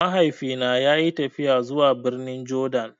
Mahaifi na ya yi tafiya zuwa birnin Jordan